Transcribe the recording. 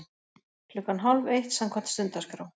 Klukkan hálfeitt samkvæmt stundaskrá.